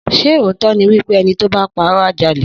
Sẹ òtọ ni wípẹ̀ ẹni tọ bà pàró à jà lè